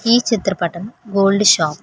ఈ చిత్రపటం gold shop .